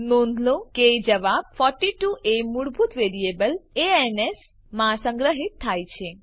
નોંધ લો કે જવાબ 42 એ મૂળભૂત વેરીએબલ એ ન એસ માં સંગ્રહિત થાય છે